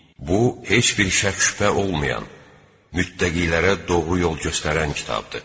Bu, heç bir şəkk-şübhə olmayan, mütləqilərə doğru yol göstərən kitabdır.